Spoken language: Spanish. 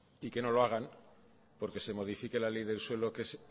y que no lo hagan porque se modifique la ley del suelo que es